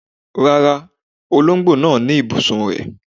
Rárá, olóńgbò náà ní ibùsùn rẹ̀.